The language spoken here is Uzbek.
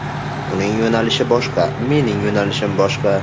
Uning yo‘nalishi boshqa, mening yo‘nalishim boshqa.